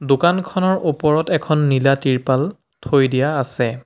দোকানখনৰ ওপৰত এখন নীলা তিৰপাল থৈ দিয়া আছে।